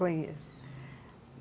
Conheço.